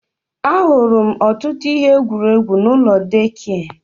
Ahụrụ m ọtụtụ ihe egwuregwu n'ụlọ deekia